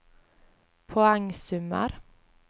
poengsummer